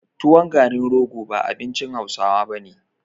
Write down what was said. Tuwon garin rogo ba abincin hausawa bane